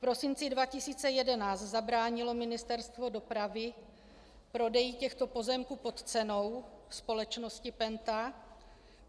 V prosinci 2011 zabránilo Ministerstvo dopravy prodeji těchto pozemků pod cenou společnosti PENTA.